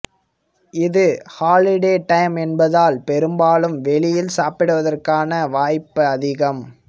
இது holiday time என்பதால் பெரும்பாலும் வெளியில் சாப்பிடுவதற்கான வாய்ப்ப அதிகம்